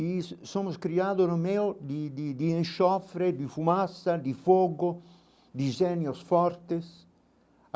E somos criados no meio de de de enxofre, de fumaça, de fogo, de gênios fortes.